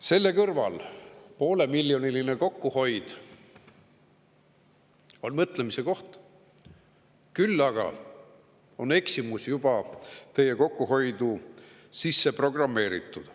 Selle kõrval poolemiljoniline kokkuhoid on mõtlemise koht, küll aga on eksimus juba teie kokkuhoidu sisse programmeeritud.